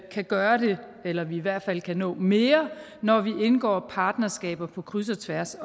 kan gøre det eller at vi i hvert fald kan nå mere når vi indgår partnerskaber på kryds og tværs